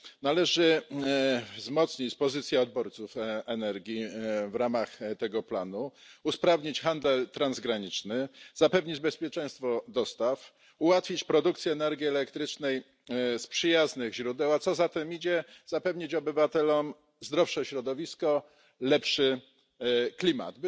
Należy wzmocnić pozycję odbiorców energii w ramach tego planu, usprawnić handel transgraniczny, zapewnić bezpieczeństwo dostaw, ułatwić produkcję energii elektrycznej z przyjaznych źródeł, a co za tym idzie zapewnić obywatelom zdrowsze środowisko, lepszy klimat.